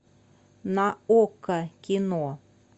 на окко кино